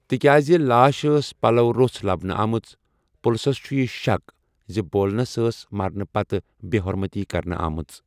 تِکیٛازِ لاش ٲس پلوَو روٚس لبنہٕ آمٕژ ، پُلسَس چُھ یہِ شَک زِ بولِنس ٲس مرنہٕ پتہٕ بےٚ ہُرمٔتی کرنہٕ آمٕژ۔